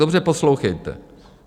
Dobře poslouchejte.